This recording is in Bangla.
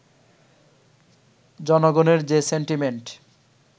জনগণের যে সেন্টিমেন্ট